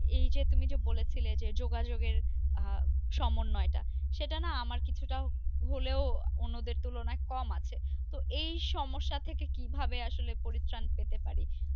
এই যে তুমি যে বলেছিলে যে যোগাযোগের আহ সমন্বয় টা। সেটা না আমার কিছুটাও হলেও অন্যদের তুলনায় কম আছে। তো এই সমস্যা থেকে কি ভাবে আসলে পরিত্রান পেতে পারি।